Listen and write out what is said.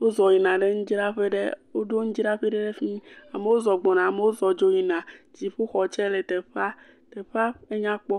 wozɔ yina ɖe nudzraƒe ɖe woɖo nudzraƒe ɖe ɖe fi mi, amo zɔ gbɔna, amo zɔ dzo yina, dziƒoxɔ tsɛ le teƒa, teƒa enyakpɔ.